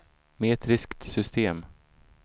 metriskt system